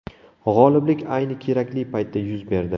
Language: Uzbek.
G‘oliblik ayni kerakli paytda yuz berdi.